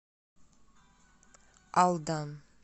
алдан